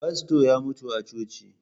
Fasto ya mutu a coci